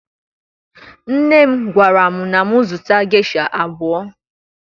Nne m gwara m na mụ zụta gesha abụọ